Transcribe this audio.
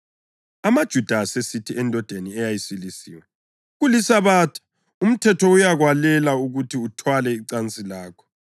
amaJuda asesithi endodeni eyayisilisiwe, “KuliSabatha; umthetho uyakwalela ukuthi uthwale icansi lakho.”